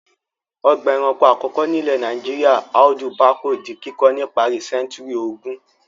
Ọgbà-ẹranko àkọ́kọ́ nílẹ̀ Nàìjíríà Audu Bako di kíkọ́ ní ìparí sẹ́ńtúrì ogún.